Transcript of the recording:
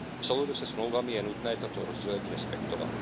V souladu se Smlouvami je nutné toto rozdělení respektovat.